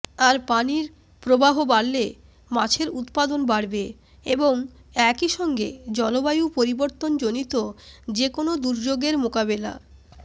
আর পানির প্রবাহ বাড়লে মাছের উৎপাদন বাড়বে এবং একই সঙ্গে জলবায়ু পরিবর্তনজনিত যেকোনো দুর্যোগের মোকাবেলা